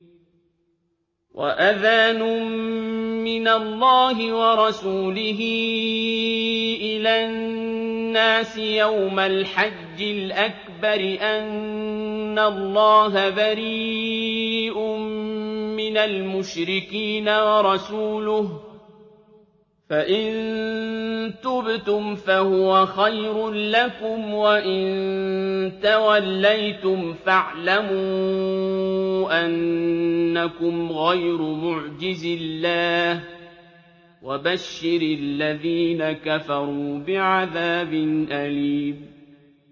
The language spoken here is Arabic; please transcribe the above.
وَأَذَانٌ مِّنَ اللَّهِ وَرَسُولِهِ إِلَى النَّاسِ يَوْمَ الْحَجِّ الْأَكْبَرِ أَنَّ اللَّهَ بَرِيءٌ مِّنَ الْمُشْرِكِينَ ۙ وَرَسُولُهُ ۚ فَإِن تُبْتُمْ فَهُوَ خَيْرٌ لَّكُمْ ۖ وَإِن تَوَلَّيْتُمْ فَاعْلَمُوا أَنَّكُمْ غَيْرُ مُعْجِزِي اللَّهِ ۗ وَبَشِّرِ الَّذِينَ كَفَرُوا بِعَذَابٍ أَلِيمٍ